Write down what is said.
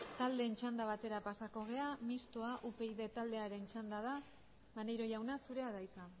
taldeen txanda batera pasako gara mistoa upyd taldearen txanda da maneiro jauna zurea da hitza